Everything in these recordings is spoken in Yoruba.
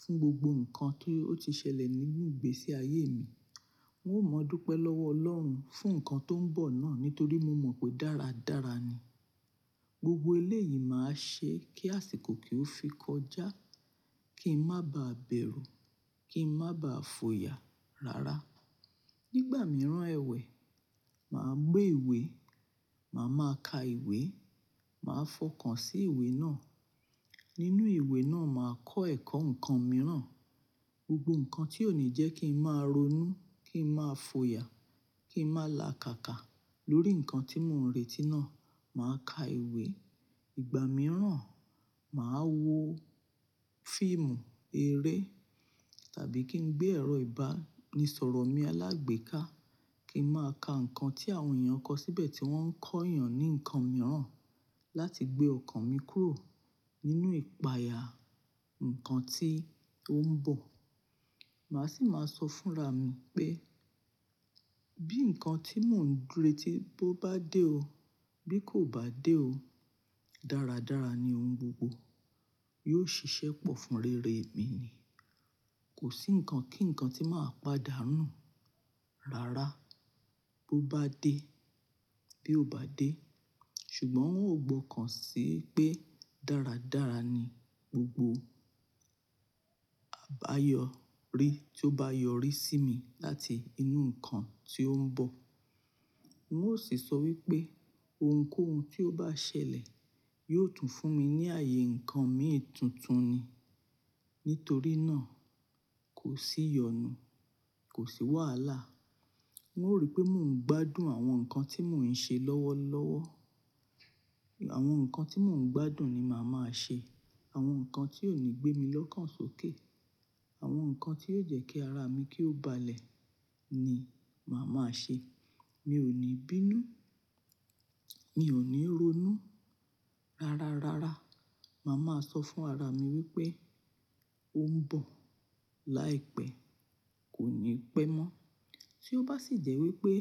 fún gbogbo ǹkan tí ó ti ṣẹlẹ̀ nígbà ìgbésí ayé mi. N ó mọ́ dúpẹ́ lọ́wọ́ Ọlọ́run fún ǹkan tó ń bọ̀ náà nítorí mo mọ̀ pé dáradára ni. Gbogbo eléyìí máa ṣe kí àsìkò kí ó fi kọjá, kí n má ba à bẹ̀rù, kí n má ba à fòyà rara. Nígbà mìíràn ẹwẹ̀, màá gbé ìwé, màá máa ka ìwé, màá fọkàn sí ìwé náà. Nínú ìwé náà, màá kọ́ ẹ̀kọ́ ǹkan mìíràn. Gbogbo ǹkan tí ò ní jẹ́ kí n máa ronú, kí n máa fòyà, kí n máa làkàkà lórí ǹkan tí mò ń retí náà, màá ka ìwé. Ìgbà mìíràn, màá wo fíìmù, eré tàbí kí n gbé ẹ̀rọ ìbánisọ̀rọ̀ mi alágbèéká kí n máa ka ǹkan tí àwọn èèyàn kọ síbẹ̀ tí wọ́n ń kọ èèyàn ní ǹkan mìíràn láti gbé ọkàn mi kúrò nínú ìpayà ǹkan tí ó ń bọ̀. Màá sì máa sọ fúnra mi pé bí ǹkan tí mò ń retí bó bá dé o, bí kò bá dé o, dáradára ni òun gbogbo. Yóò ṣiṣẹ́ pọ̀ fún rere mi ni. Kò sí ǹkan kí ǹkan tí màá padà nù rara bó bá dé bí ó bá dé. Ṣùgbọ́n n ó gbọ́kàn sí pé dáradára ni gbogbo àbáyọrí tí ó bá yọrí sí mi láti inú ǹkan tí ó ń bọ̀. N ó sì sọ wípé ohunkóhun tí ó bá ṣẹlẹ̀ yóò tún fún mi ní ààyè ǹkan mìíràn tuntun ni. Nítorí náà, kò sí iyọ̀nu, kò sí wàhálà. N ó rí pé mò ń gbádùn àwọn ǹkan tí mò ń ṣe lọ́wọ́lọ́wọ́. Àwọn ǹkan tí mò ń gbádùn ni màá máa ṣe. Àwọn ǹkan tí ò ní gbé mi lọ́kàn sókè, àwọn ǹkan tí yóò jẹ́ kí ara mi kí ó balẹ̀ ni màá máa ṣe. Mi ò ní bínú, mi ò ní ronú rara rara. Màá máa sọ fún ara mi wípé ó ń bọ̀ láìpẹ́, kò ní pẹ́ mọ́. Tí ó bá sì jẹ́ wípé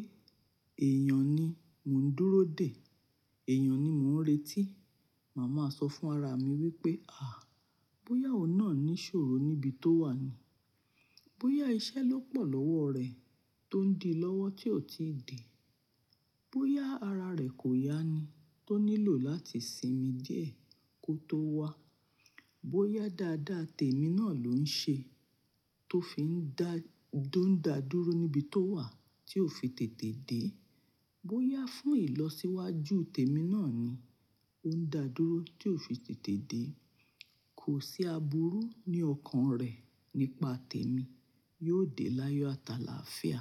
èèyàn ni mò ń dúró dè, èèyàn ni mò ń retí, màá máa sọ fún ara mi wípé à, bóyá òun náà nísòro níbi tó wà ni, bóyá iṣẹ́ ló pọ̀ lọ́wọ́ rẹ tó ń di lọ́wọ́ tí ò tíì dé, bóyá ara rẹ̀ kò ya ni tó nílò láti sinmi díẹ̀ kó tó wá, bóyá dáadáa tèmi náà ló ń ṣe tó fi ń dá, tó ń dà dúró níbi tó wà tí ò fi tètè dé, bóyá fún ìlọsíwájú tèmi náà ni ó ń dà dúró tí ò fi tètè dé, kò sí àbúrú ní ọkàn rẹ̀ nípa tèmi, yóò dé láyọ̀ ataláfíà.